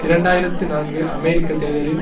இரண்டு ஆயிரத்து நான்கு அமெரிக்க தேர்தலில்